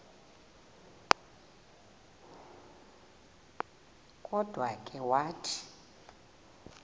kodwa ke wathi